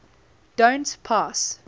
don t pass